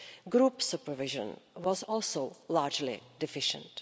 Group supervision was also largely deficient.